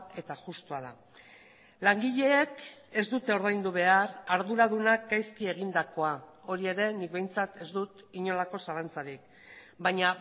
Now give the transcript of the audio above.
eta justua da langileek ez dute ordaindu behar arduradunak gaizki egindakoa hori ere nik behintzat ez dut inolako zalantzarik baina